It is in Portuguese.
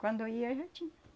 Quando ia, já tinha.